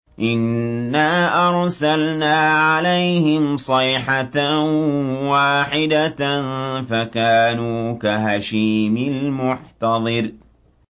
إِنَّا أَرْسَلْنَا عَلَيْهِمْ صَيْحَةً وَاحِدَةً فَكَانُوا كَهَشِيمِ الْمُحْتَظِرِ